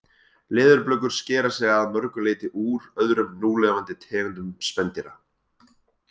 Leðurblökur skera sig að mörgu leyti úr öðrum núlifandi tegundum spendýra.